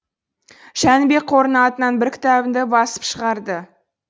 жәнібек қорының атынан бір кітабымды басып шығарды